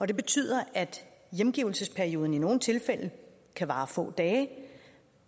det betyder at hjemgivelsesperioden i nogle tilfælde kan vare få dage